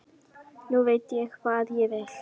Nú veit ég hvað ég vil.